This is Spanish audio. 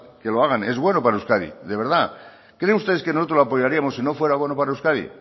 que lo hagan es bueno para euskadi de verdad creen ustedes que nosotros la apoyaríamos si no fuera bueno para euskadi